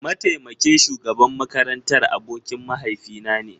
Mataimakin shugaban makarantar abokin mahaifinane